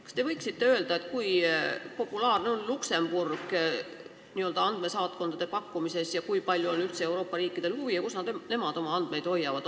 Kas te võite öelda, kui populaarne on Luksemburg n-ö andmesaatkondade pakkumises, kui palju on üldse Euroopa riikidel selle vastu huvi ja kus nemad oma andmeid hoiavad?